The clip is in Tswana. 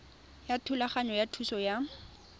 ya thulaganyo ya thuso ya